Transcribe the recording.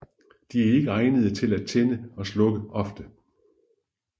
De er ikke egnede til at tænde og slukke ofte